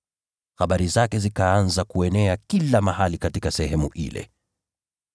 Habari zake zikaanza kuenea kila mahali katika sehemu ile.